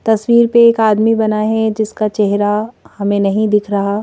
तस्वीर पे एक आदमी बना है जिसका चेहरा हमें नहीं दिख रहा--